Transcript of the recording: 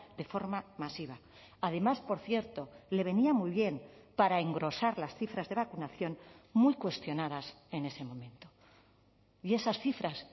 de forma masiva además por cierto le venía muy bien para engrosar las cifras de vacunación muy cuestionadas en ese momento y esas cifras